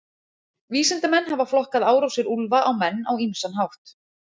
Vísindamenn hafa flokkað árásir úlfa á menn á ýmsan hátt.